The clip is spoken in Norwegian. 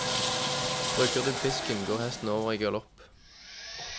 Bruker du pisken, går hesten også over i galopp.